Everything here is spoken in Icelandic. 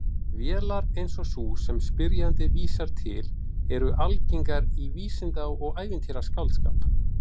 Vélar eins og sú sem spyrjandi vísar til eru algengar í vísinda- og ævintýraskáldskap.